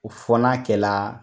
kO fɔ n'a kɛra